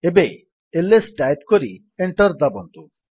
ଏବେ LS type କରି enter ଦାବନ୍ତୁ